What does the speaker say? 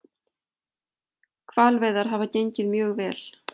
Hvalveiðar hafa gengið mjög vel